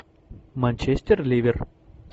манчестер ливер